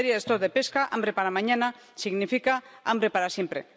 Y en materia de poblaciones de pesca, hambre para mañana significa hambre para siempre.